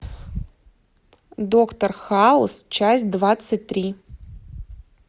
доктор хаус часть двадцать три